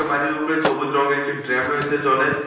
বাড়ির উপরে সবুজ রঙ্গের একটি ড্র্যাম রয়েছে জলের।